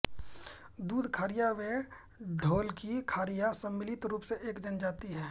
दूध खारिया व ढेलकी खारिया सम्मिलित रूप से एक जन जाति हैं